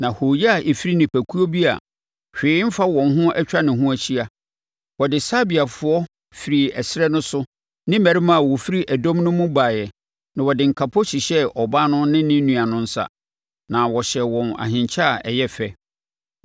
“Na hooyɛ a ɛfiri nipakuo bi a hwee mfa wɔn ho atwa ne ho ahyia. Wɔde Sabeafoɔ firi ɛserɛ no so ne mmarima a wɔfiri ɛdɔm no mu baeɛ na wɔde nkapo hyehyɛɛ ɔbaa no ne ne nua no nsa, na wɔhyɛɛ wɔn ahenkyɛ a ɛyɛ fɛ.